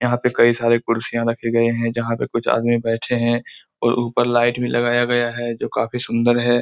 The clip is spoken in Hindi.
यहाँ पे कई साड़ी कुर्सिया रखी गई है जहाँ पे कुछ आदमियां बैठे है। और ऊपर लाइट भी लगाया गया है जो काफी सुंदर है।